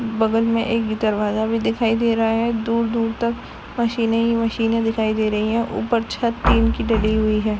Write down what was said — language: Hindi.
बगल में एक दरवाजा भी दिखाई दे रहा हैं दूर -दूर तक मशीने ही मशीने दिखाई दे रही हैं ऊपर छत टिन की ढली हुई हैं।